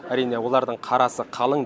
әрине олардың қарасы қалың